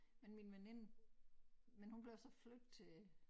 Men min veninde men hun blev så flyttet til